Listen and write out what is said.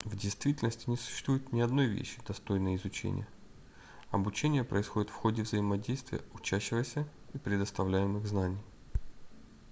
в действительности не существует ни одной вещи достойной изучения обучение происходит в ходе взаимодействия учащегося и предоставляемых знаний